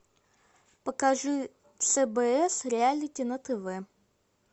покажи сбс реалити на тв